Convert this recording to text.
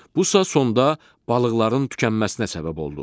Bu sonda balıqların tükənməsinə səbəb oldu.